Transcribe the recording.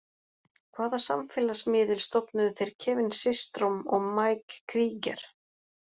Hvaða samfélagsmiðil stofnuðu þeir Kevin Systrom og Mike Krieger?